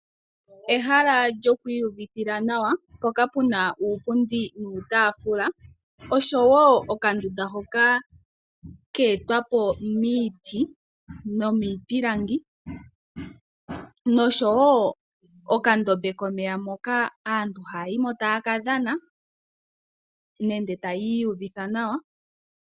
Ehala lyo ku iyuvithila nawa mpoka puna uupundi nuutaafula osho woo okandunda hoka ke etwa po miiti nomiipilangi, nosho woo okandombe komeya moka aantu haya yi mo taya ka dhana nenge taya iyuvitha nawa.